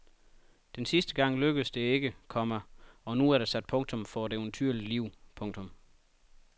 Den sidste gang lykkedes det ikke, komma og nu er der sat punktum for et eventyrligt liv. punktum